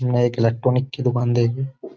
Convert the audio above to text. ने एक इलेक्ट्रॉनिक की दुकान देखी।